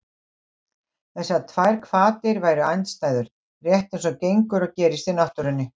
Þessar tvær hvatir væru andstæður, rétt eins og gengur og gerist í náttúrunni.